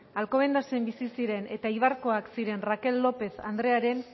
alcobendasen bizi ziren eta eibarkoak ziren raquel lópez andrearen